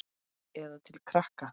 Eða til krakka?